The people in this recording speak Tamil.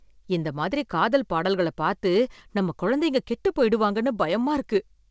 இந்த மாதிரி காதல் பாடல்களை பார்த்து நம்ம குழந்தைகள் கெட்டுப் போயிடுவாங்கன்னு பயமா இருக்கு